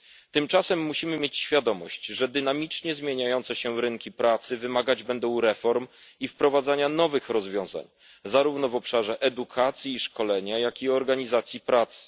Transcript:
Tymczasem musimy mieć świadomość, że dynamicznie zmieniające się rynki pracy wymagać będą reform i wprowadzania nowych rozwiązań zarówno w obszarze edukacji i szkoleń, jak i organizacji pracy.